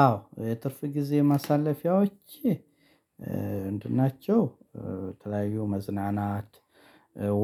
አዎ የትርፍ ጊዜ ማሳለፊያዎቸ ምንድን ናቸው? ተለያዩ መዝናናት፣